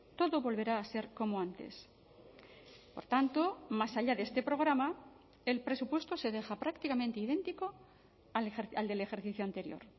todo volverá a ser como antes por tanto más allá de este programa el presupuesto se deja prácticamente idéntico al del ejercicio anterior